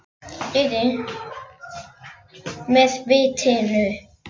Með vitinu.